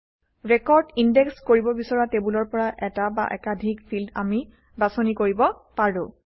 record index কৰিব বিচৰা টেবুলৰ পৰা এটা বা একাধিক ফিল্ড আমি বাছনি কৰিব পাৰোঁ